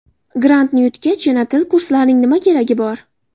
Grantni yutgach, yana til kurslarining nima keragi bor?